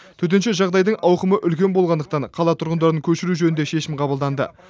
төтенше жағдайдың ауқымы үлкен болғандықтан қала тұрғындарын көшіру жөнінде шешім қабылданды